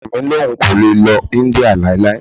Ọkọ mi ní òun kò lè lọ India láéláé.